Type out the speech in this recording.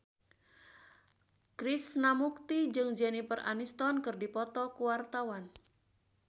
Krishna Mukti jeung Jennifer Aniston keur dipoto ku wartawan